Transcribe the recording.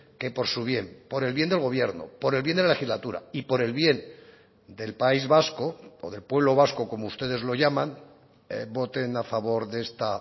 que por su bien por el bien del gobierno por el bien de la legislatura y por el bien del país vasco o del pueblo vasco como ustedes lo llaman voten a favor de esta